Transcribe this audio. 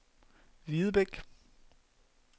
Hvidebæk